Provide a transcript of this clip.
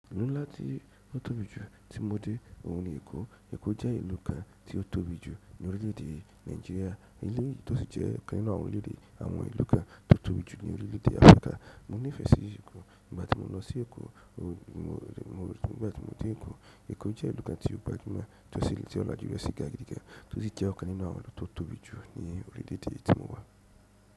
Ìlú ńlá tí ó tóbi jù tí mo dé òun ni Èkó. Eko je ìlú kan ti o tóbi ju ni orileede Nigeria, eleyi to si je ikan nínú àwọn orileede àwọn ìlú kan ti o tóbi ju ni orileede Africa. Mo nífẹsí Èkó nígbà tí mo lọ sí Èkó. Igabti mo lo si Eko. Nígbà tí mo dé Èkó, Èkó jẹ́ ìlú kan tí ó gbajúmọ̀, tí ó sì le tí ó lajú rẹ́ sí gáà gígà, tó sì jẹ́ ọ̀kan nínú àwọn ìlú tó tóbi jù ní orílẹ̀èdè tí mo wà.